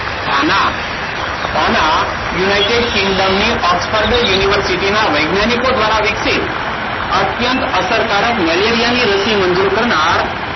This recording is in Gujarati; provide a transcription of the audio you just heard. ગાના. ગાના યુનાઇટેડ કિંગડમની ઓક્સફર્ડ યુનિવર્સિટી ના વૈજ્ઞાનિકો દ્વારા વિકસિત, અત્યંત અસરકારક મેલેરિયા ની રસી મંજૂર કરનાર,